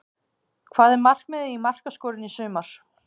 Hvað er markmiðið í markaskorun í sumar?